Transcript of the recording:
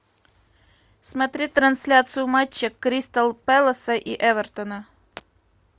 смотреть трансляцию матча кристал пэласа и эвертона